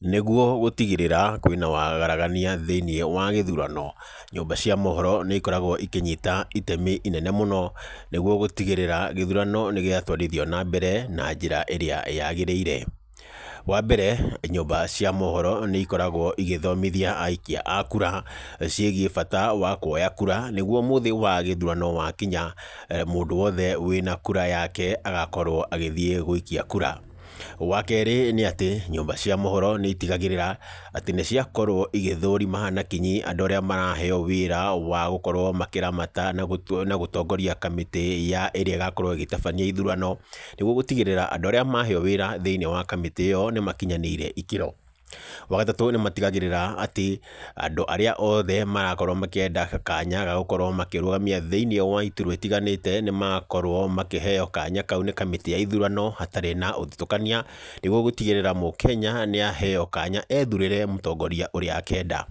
Nĩguo gũtigĩrĩra kwĩ na waragania thĩiniĩ wa gĩthurano, nyũmba cia mohoro nĩ ikoragwo ikĩnyita itemi inene mũno, nĩguo gũtigĩrĩra gĩthurano nĩ gĩatũarithio na mbere na njĩra ĩrĩa yagĩrĩire. Wa mbere, nyũmba cia mohoro nĩ ikoragwo igĩthomithia aikia a kura, ciĩgiĩ bata wa kuoya kura, nĩguo mũthĩ wa gĩthurano wakinya, mũndũ wothe wĩna kura yake, agakorwo agĩthiĩ gũikia kura. Wa kerĩ, nĩ atĩ, nyũmba cia mohoro nĩ itigagagĩrĩra atĩ nĩ ciakorwo igĩthũrima na kinya, andũ arĩa maraheo wĩra wa gũkorwo makĩramata na gũtongoria kamĩtĩ ya ĩrĩa ĩgakorwo ĩgĩtabania ithurano, nĩguo gũtigĩrĩra andũ arĩa maheo wĩra thĩiniĩ wa kamĩtĩ ĩyo nĩ makinyanĩire ikĩro. Wa gatatũ, nĩ matigagĩrĩra atĩ, andũ arĩa othe marakorwo makĩenda kanya ga gũkorwo makĩrũgamia thĩiniĩ wa iturwa itiganĩte, nĩ makorwo makĩheo kanya kau nĩ kamĩtĩ ya ithurano, hatarĩ na ũthutũkania, nĩguo gũtigĩrĩra mũkenya nĩ aheo kanya ethurĩre mũtongoria ũrĩa akenda.